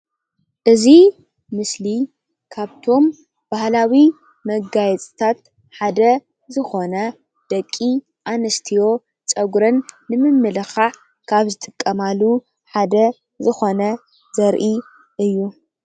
እዚእዩ። ስሊ ካብቶም ባህላዊ መጋየፂታት ሓደ ዝኾነ ደቂ ኣንስትዮ ፀጉረን ልምምልኻዕ ካብ ዝጥቀማሉ ሓደ ዝኾነ ዘርኢ እዩ